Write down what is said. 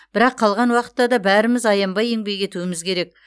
бірақ қалған уақытта да бәріміз аянбай еңбек етуіміз керек